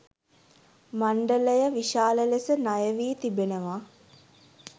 මණ්ඩලය විශාල ලෙස ණයවී තිබෙනවා.